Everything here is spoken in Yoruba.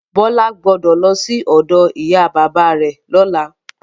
Bọ́lá gbọ́dọ̀ lọsí ọ̀dọ ìyá bàbá rẹ lọ́la.